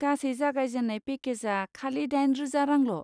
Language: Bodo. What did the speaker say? गासै जागायजेननाय पेकेजआ खालि दाइन रोजा रांल'।